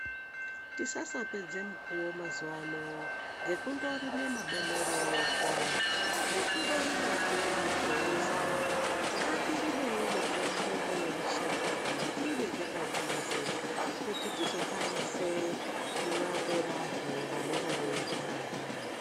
Tisasapedze mukuwo mazuva ano ngekundorima mabonore ega, ngekundorimahe mingoza. Ngatiirimewo mitombo yemushango iyi, tiibeke padhuze kuti tizokwanise kurape vantu vanenge veirwara.